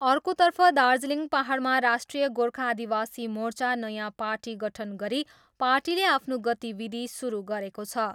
अर्कोतर्फ दार्जिलिङ पाहाडमा राष्ट्रिय गोर्खा आदिवासी मोर्चा नयाँ पार्टी गठन गरी पार्टीले आफ्नो गतिविधि सुरु गरेको छ।